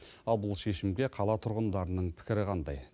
ал бұл шешімге қала тұрғындарының пікірі қандай